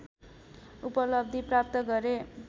उपलब्धि प्राप्त गरे